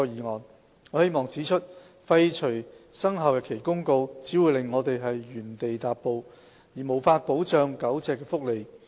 我希望指出，廢除《生效日期公告》，只會令我們原地踏步，而無法保障狗隻的福利。